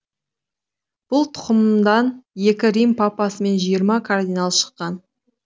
бұл тұқымдан екі рим папасы мен жиырма кардинал шыққан